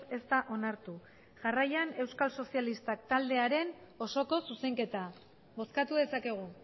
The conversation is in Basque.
ez da onartu jarraian euskal sozialistak taldearen osoko zuzenketa bozkatu dezakegu